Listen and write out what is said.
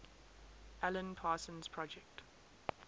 alan parsons project